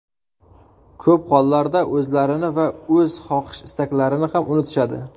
Ko‘p hollarda, o‘zlarini va o‘z xohish-istaklarini ham unutishadi.